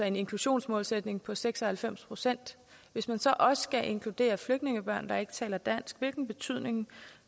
en inklusionsmålsætning på seks og halvfems procent hvis man så også skal inkludere flygtningebørn der ikke taler dansk hvilken betydning